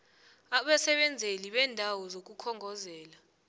abasebenzeli beendawo zokukhongozela